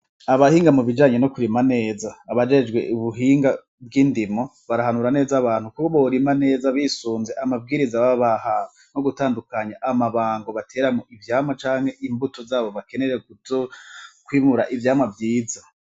Abahinga mu bijanye no kurima neza abajejwe ubuhinga bw'indimo barahanura neza abantu kubo borima neza bisunze amabwiriza babaha no gutandukanya amabango bateramwo ivyama canke imbuto zabo bakenere gutokwimura ivyamwa vyiza.